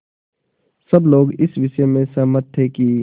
सब लोग इस विषय में सहमत थे कि